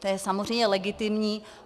To je samozřejmě legitimní.